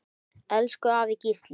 Elsku afi Gísli.